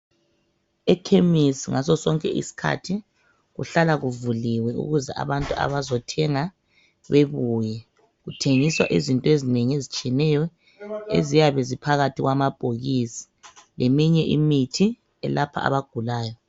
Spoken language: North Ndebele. Ekhemisi ngasosonke isikhathi, kuhlala kuvuliwe ukuze abantu abazothenga bebuye, kuthengiswa izintwezinengi ezitshiyeneyo eziyabe ziphakathi kwamabhokisi leminye imithi eyelapha abagulayo.